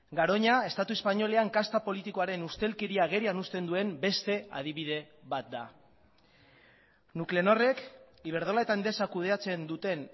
garoña estatu espainolean kasta politikoaren ustelkeria agerian uzten duen beste adibide bat da nuklenorrek iberdrola eta endesa kudeatzen duten